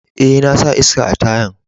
Eh, na sa iska a tayan.